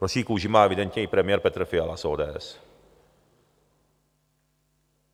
Hroší kůži má evidentně i premiér Petr Fiala z ODS.